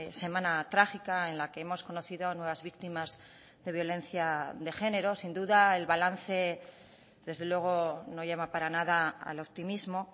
semana trágica en la que hemos conocido nuevas víctimas de violencia de género sin duda el balance desde luego no llama para nada al optimismo